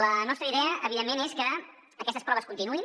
la nostra idea evidentment és que aquestes proves continuïn